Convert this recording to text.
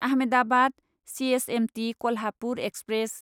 Ahmedabad CSMT Kolhapur express